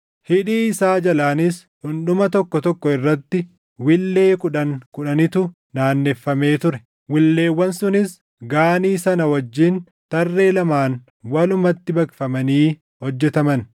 Hidhii isaa jalaanis dhundhuma tokko tokko irratti wiillee kudhan kudhanitu naanneffamee ture. Willeewwan sunis Gaanii sana wajjin tarree lamaan walumatti baqfamanii hojjetaman.